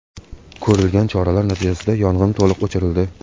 Ko‘rilgan choralar natijasida yong‘in to‘liq o‘chirildi.